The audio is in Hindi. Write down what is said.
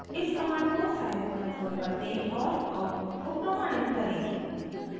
इस कमांड को scilab कंसोल पर दें और आउटपुट को प्रमाणित करें